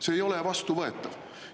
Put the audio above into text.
See ei ole vastuvõetav.